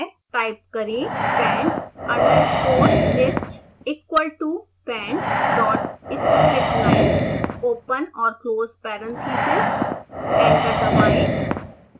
type करें pend_list equal to pend dot splitlines open और close parentheses